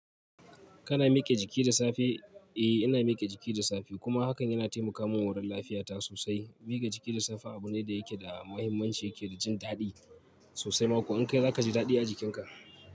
Kana miƙa jiki da safe? Eh, ina miƙe jiki da safe kuma hakan yana taimakawa wurin lafiyata sosai. Miƙa jiki da safe abu ne da yake da muhimmanci, yake da jin daɗi sosai ma ko in kai zaka ji daɗi a jikinka.